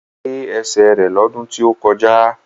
Wọ́n gé ẹsẹ̀ rẹ lọ́dún tí ó kọjá